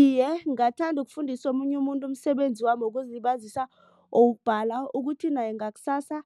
Iye, ngingathanda ukufundisa omunye umuntu umsebenzi wami wokuzilibazisa wokubhala. Ukuthi naye ngakusasa